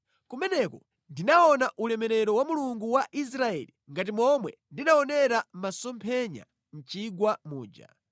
Kumeneko ndinaona ulemerero wa Mulungu wa Israeli ngati momwe ndinaonera mʼmasomphenya mʼchigwa muja.